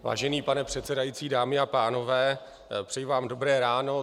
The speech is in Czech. Vážený pane předsedající, dámy a pánové, přeji vám dobré ráno.